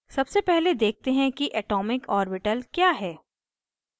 सबसे पहले देखते हैं कि atomic orbital atomic orbital क्या है